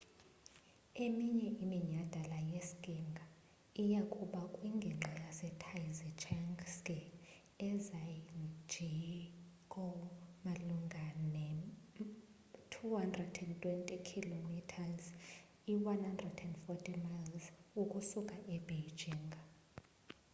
eminye iminyhadala yeskiing iya kuba kwingingqi yase taizicheng ski ezhangjiakou malunga ne 220 km 140 miles ukusuka e beijing